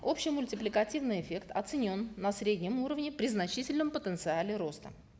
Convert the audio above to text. общий мультипликативный эффект оценен на среднем уровне при значительном потенциале роста